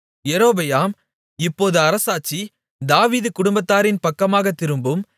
யெரொபெயாம் இப்போது அரசாட்சி தாவீது குடும்பத்தாரின் பக்கமாகத் திரும்பும்